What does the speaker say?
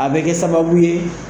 A bɛ kɛ sababu ye